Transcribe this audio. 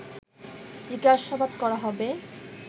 জিজ্ঞাসাবাদ করা হবে